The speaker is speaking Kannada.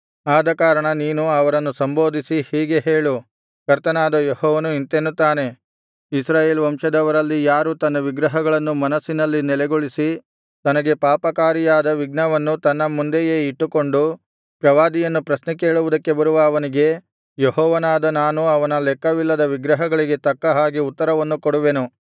ಆದಕಾರಣ ನೀನು ಅವರನ್ನು ಸಂಬೋಧಿಸಿ ಹೀಗೆ ಹೇಳು ಕರ್ತನಾದ ಯೆಹೋವನು ಇಂತೆನ್ನುತ್ತಾನೆ ಇಸ್ರಾಯೇಲ್ ವಂಶದವರಲ್ಲಿ ಯಾರು ತನ್ನ ವಿಗ್ರಹಗಳನ್ನು ಮನಸ್ಸಿನಲ್ಲಿ ನೆಲೆಗೊಳಿಸಿ ತನಗೆ ಪಾಪಕಾರಿಯಾದ ವಿಘ್ನವನ್ನು ತನ್ನ ಮುಂದೆಯೇ ಇಟ್ಟುಕೊಂಡು ಪ್ರವಾದಿಯನ್ನು ಪ್ರಶ್ನೆ ಕೇಳುವುದಕ್ಕೆ ಬರುವ ಅವನಿಗೆ ಯೆಹೋವನಾದ ನಾನು ಅವನ ಲೆಕ್ಕವಿಲ್ಲದ ವಿಗ್ರಹಗಳಿಗೆ ತಕ್ಕ ಹಾಗೆ ಉತ್ತರವನ್ನು ಕೊಡುವೆನು